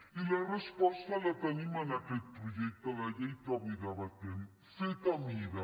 i la resposta la tenim en aquest projecte de llei que avui debatem fet a mida